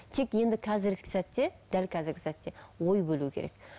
тек енді қазіргі сәтте дәл қазіргі сәтте ой бөлу керек